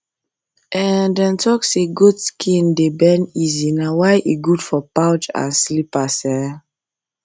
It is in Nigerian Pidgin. um dem talk say goat um skin dey bend easy na why e good for pouch and slippers um